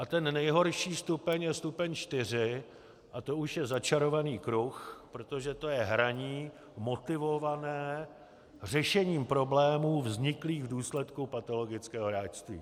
A ten nejhorší stupeň je stupeň 4 a to už je začarovaný kruh, protože to je hraní motivované řešením problémů vzniklých v důsledku patologického hráčství.